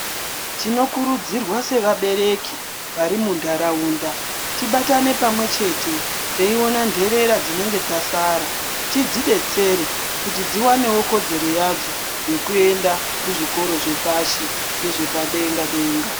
Tinokurudziwa sevabereki kuti vari muntaraunda tibatane pamwe chete kuti teiona nderera dzinenge dzasara tidzidetsere kuti dziwanewo kodzero yekuenda kuchikora zvepashi nezvepadenga denga.